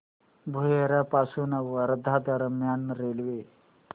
भुयार पासून वर्धा दरम्यान रेल्वे